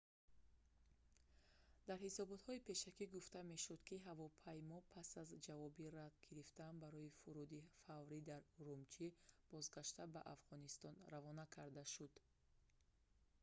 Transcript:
дар ҳисоботҳои пешакӣ гуфта мешуд ки ҳавопаймо пас аз ҷавоби рад гирифтан барои фуруди фаврӣ дар урумчи бозгашта ба афғонистон равона карда шуд